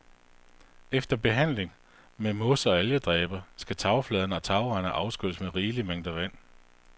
Efter behandling med mos og algedræber, skal tagfladerne og tagrenderne afskylles med rigelige mængder vand.